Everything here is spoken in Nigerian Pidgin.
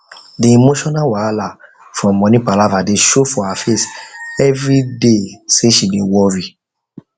the emotional wahala from money palava dey show for her face everyday say she dey worry